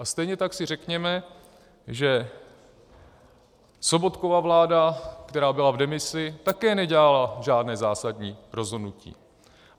A stejně tak si řekněme, že Sobotkova vláda, která byla v demisi, také nedělala žádné zásadní rozhodnutí.